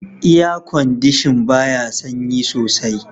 "Air condition" baya sanyi soaI.